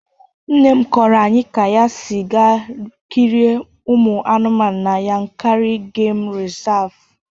Nne m kọrọ anyị ka ya si gaa kirie ụmụ anụmanụ na Yankarị Gemu Rịsavụ.